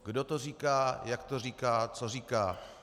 Kdo to říká, jak to říká, co říká?